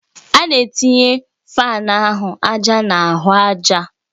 A na-etinye fáan ahụ àjà na ahụ àjà